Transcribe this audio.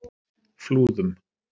Flúðum